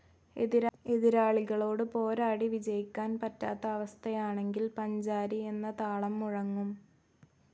എതിരാളികളോട് പോരാടി വിജയിക്കാൻ പറ്റാത്ത അവസ്ഥയാണെങ്കിൽ പഞ്ചാരി എന്ന താളം മുഴങ്ങും.